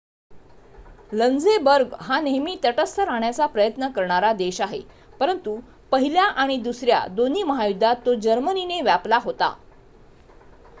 Luxembourg हा नेहमी तटस्थ राहण्याचा प्रयत्न करणारा देश आहे परंतु पहिल्या आणि दुसऱ्या दोन्ही महायुद्धात तो जर्मनीने व्यापला होता